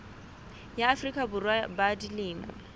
ya afrika borwa ba dilemo